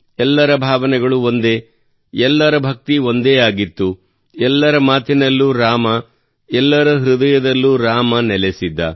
ಎಲ್ಲರ ಭಾವನೆಗಳು ಒಂದೇ ಎಲ್ಲರ ಭಕ್ತಿ ಒಂದೇ ಆಗಿತ್ತು ಎಲ್ಲರ ಮಾತಿನಲ್ಲೂ ರಾಮ ಎಲ್ಲರ ಹೃದಯದಲ್ಲೂ ರಾಮ ನೆಲೆಸಿದ್ದ